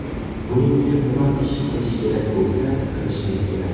Buning uchun nima ish qilish kerak bo‘lsa, qilishimiz kerak.